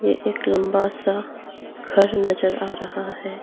एक लंबा सा घर नजर आ रहा है।